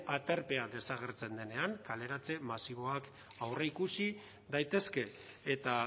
aterpea desagertzen denean kaleratze masiboak aurreikusi daitezke eta